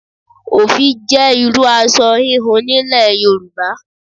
Òfì jẹ́ irúu aṣọ híhun nílẹ̀ Yorùbá.